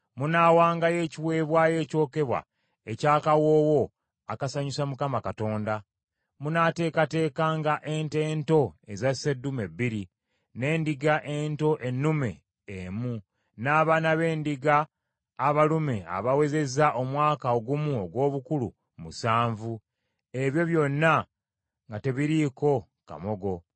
Munaawangayo ekiweebwayo ekyokebwa eky’akawoowo akasanyusa Mukama Katonda. Munaateekateekanga ente ento eza sseddume bbiri, n’endiga ento ennume emu, n’abaana b’endiga abalume abawezezza omwaka ogumu ogw’obukulu musanvu; ebyo byonna nga tebiriiko kamogo.